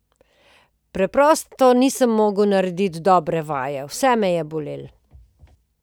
Preprosto nisem mogel narediti dobre vaje, vse me je bolelo.